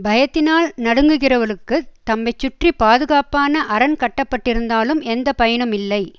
பயத்தினால் நடுங்குகிறவர்களுக்குத் தம்மைச் சுற்றி பாதுகாப்புக்கான அரண் கட்டப்பட்டிருந்தாலும் எந்த பயனுமில்லை